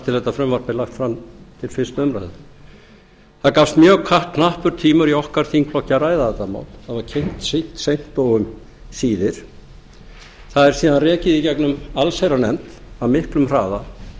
frumvarp er lagt fram til fyrstu umræðu það gafst mjög knappur tími í okkar þingflokki að ræða þetta mál það var kynnt seint og um síðir það er síðan rekið í gegnum allsherjarnefnd af miklum hraða